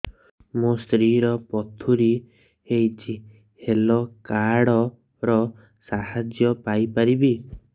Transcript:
ମୋ ସ୍ତ୍ରୀ ର ପଥୁରୀ ହେଇଚି ହେଲ୍ଥ କାର୍ଡ ର ସାହାଯ୍ୟ ପାଇପାରିବି